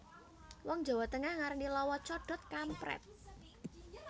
Wong Jawa Tengah ngarani lowo codhot kamprét